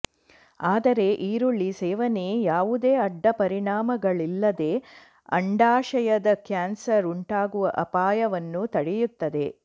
ಆದರೆ ಈರುಳ್ಳಿ ಸೇವನೆ ಯಾವುದೇ ಅಡ್ಡ ಪರಿಣಾಮಗಳಿಲ್ಲದೆ ಅಂಡಾಶಯದ ಕ್ಯಾನ್ಸರ್ ಉಂಟಾಗುವ ಅಪಾಯವನ್ನು ತಡೆಯುತ್ತದೆ